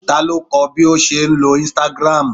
Ta ló kọ́ ọ bí o ṣe ń lo Instagram